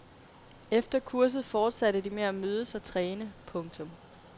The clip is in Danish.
Efter kurset fortsatte de med at mødes og træne. punktum